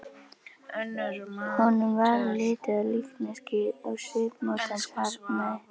Honum varð litið á líkneskið og svipmót hans harðnaði.